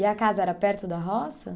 E a casa era perto da roça?